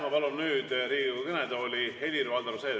Ma palun nüüd Riigikogu kõnetooli Helir-Valdor Seederi.